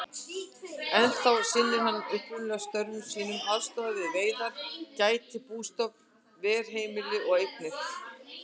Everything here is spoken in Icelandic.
Ennþá sinnir hann upprunalegum störfum sínum, aðstoðar við veiðar, gætir bústofns, ver heimili og eignir.